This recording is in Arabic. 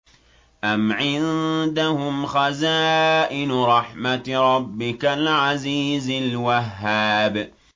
أَمْ عِندَهُمْ خَزَائِنُ رَحْمَةِ رَبِّكَ الْعَزِيزِ الْوَهَّابِ